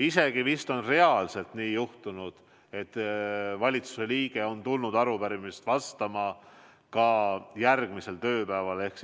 Isegi vist on nii juhtunud, et valitsuse liige on tulnud arupärimisele vastama ka järgmisel tööpäeval ehk